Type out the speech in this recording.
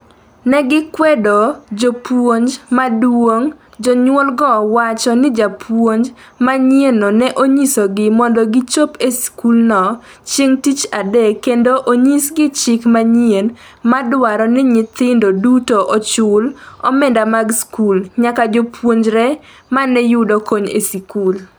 Negikwedo japuonj maduong’ Jonyuol go wacho ni japuonj manyienno ne onyiso gi mondo gichop e skulno chieng' tich adek kendo onyisgi chik manyien ma dwaro ni nyithindo duto ochul omenda mag skul, nyaka jopuonjre mane yudo kony e sikul